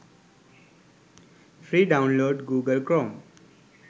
free download google chrome